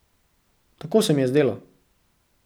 Tako se mi je zdelo.